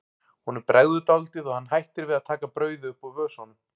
Honum bregður dálítið og hann hættir við að taka brauðið upp úr vösunum.